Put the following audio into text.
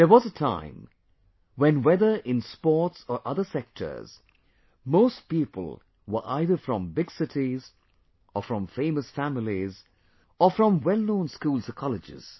There was a time, when whether in sports or other sectors, most people were either from big cities or from famous families or from wellknown schools or colleges